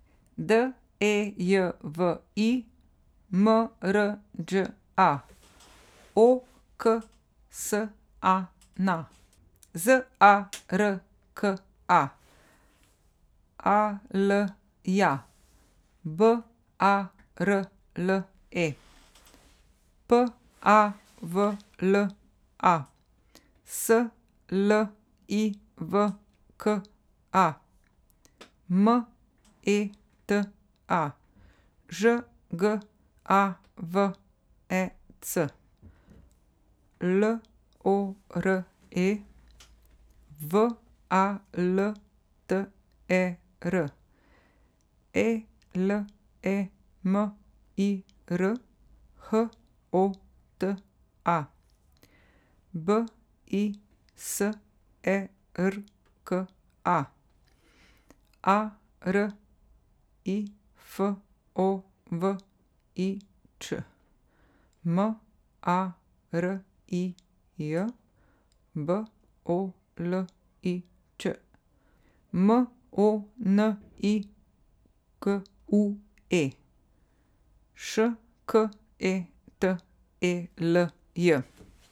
D E J V I, M R Đ A; O K S A N A, Z A R K A; A L J A, B A R L E; P A V L A, S L I V K A; M E T A, Ž G A V E C; L O R E, W A L T E R; E L E M I R, H O T A; B I S E R K A, A R I F O V I Ć; M A R I J, B O L I Č; M O N I K U E, Š K E T E L J.